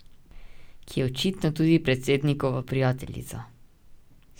Ki je očitno tudi predsednikova prijateljica.